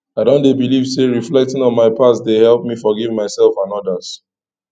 i dey believe say reflecting on my past dey help me forgive myself and others